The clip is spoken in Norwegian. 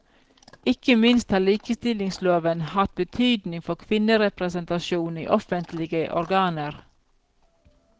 Ikke minst har likestillingsloven hatt betydning for kvinnerepresentasjon i offentlige organer.